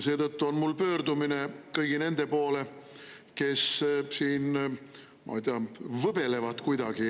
Seetõttu on mul pöördumine kõigi nende poole, kes siin, ma ei tea, võbelevad kuidagi.